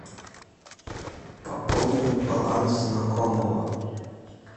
пополнить баланс знакомого